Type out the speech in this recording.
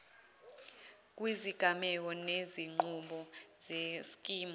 kwizigameko nezinqubo zeskimu